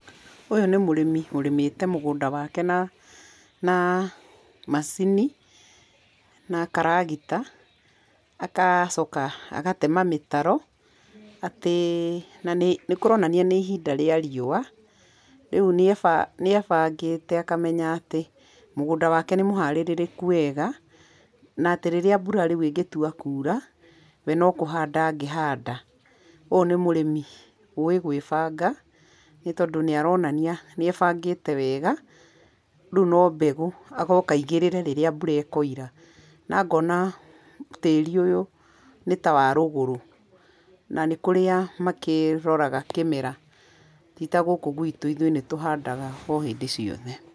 Ũyũ nĩ mũrĩmi ũrĩmĩte mũgũnda wake na macini na karagita agacoka agatema mĩtaro atĩ na nĩkũronania nĩ ihinda rĩa riũa rĩu nĩebangĩte akamenya atĩ mũgũnda wake nĩ mũharĩrĩku wega na atĩ rĩrĩa mbura rĩu ĩngĩtua kuura we no kũhanda angĩhanda. Ũyũ nĩ mũrĩmi ũĩ gwĩbanga nĩ tondũ nĩ aronania nĩebangĩte wega, rĩu no mbegũ agoka aigĩrĩre rĩrĩa mbura ĩkoira na ngona tĩri ũyũ nĩtawarũgũrũ na nĩkũrĩa makĩroraga kĩmera titagũkũ gwĩtũ, ithuĩ nĩtũhandaga o hĩndĩ ciothe.